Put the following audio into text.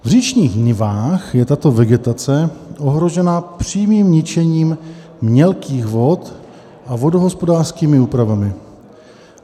V říčních nivách je tato vegetace ohrožena přímým ničením mělkých vod a vodohospodářskými úpravami.